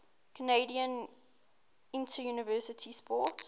canadian interuniversity sport